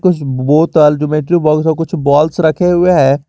Geometry box में कुछ balls रखे हुए हैं।